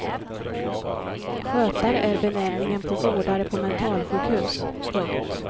Skötare är benämningen på vårdare på mentalsjukhus. punkt